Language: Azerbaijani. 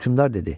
Hökmdar dedi: